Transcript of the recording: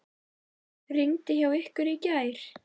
Rigndi hjá ykkur í gær?